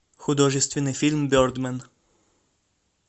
художественный фильм бердмэн